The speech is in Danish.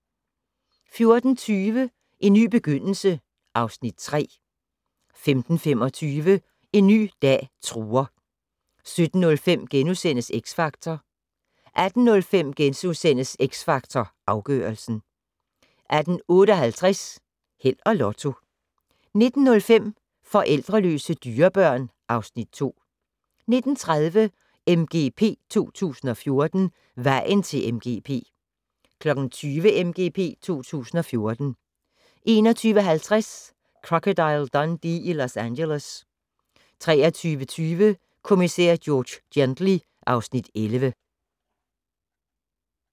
14:40: En ny begyndelse (Afs. 3) 15:25: En ny dag truer 17:05: X Factor * 18:05: X Factor Afgørelsen * 18:58: Held og Lotto 19:05: Forældreløse dyrebørn (Afs. 2) 19:30: MGP 2014: Vejen til MGP 20:00: MGP 2014 21:50: Crocodile Dundee i Los Angeles 23:20: Kommissær George Gently (Afs. 11)